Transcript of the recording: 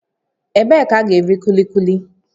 Ebee ka a ga-eri kulikuli?